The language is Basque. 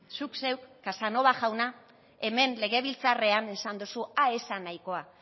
zuk zeuk casanova jauna hemen legebiltzarrean esan dozu ah ez zan nahikoa